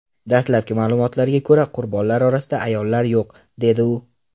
Dastlabki ma’lumotlarga ko‘ra, qurbonlar orasida ayollar yo‘q”, dedi u.